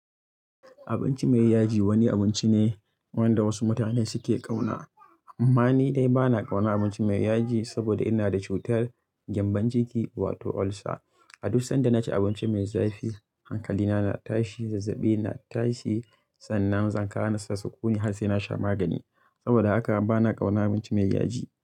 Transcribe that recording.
Abinci mai yaji wani abinci ne wanda wasu mutane suke kauna. Amma ni dai ba na kaunar abinci mai yaji saboda ina da cutar gyambon ciki wato ulcer. A duk sanda na ci abinci mai zafi hankalina na tashi, zazzabina na tashi, sannan zan kasa samun natsuwa har sai na sha magani. Saboda haka ba na kaunar abinci mai yaji.